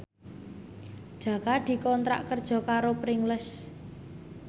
Jaka dikontrak kerja karo Pringles